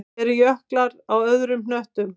Eru jöklar á öðrum hnöttum?